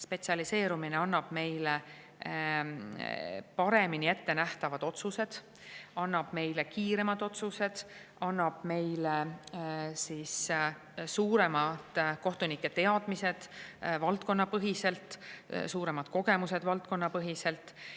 Spetsialiseerumine annab meile paremini ettenähtavad otsused, annab meile kiiremad otsused, annab meile suuremad kohtunike teadmised valdkonnapõhiselt, suuremad kogemused valdkonnapõhiselt.